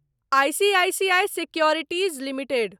ICICI securities limited